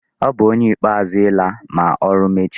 Ọ bu ónyé ikpeazụ ịla ma ọrụ mechie.